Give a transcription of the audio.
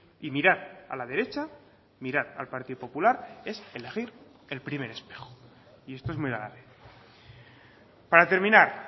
y mirar a la derecha mirar al partido popular es elegir el primer espejo y esto es muy grave para terminar